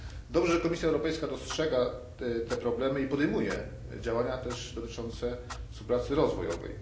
Dobrze, że Komisja Europejska dostrzega te problemy i podejmuje też działania dotyczące współpracy rozwojowej.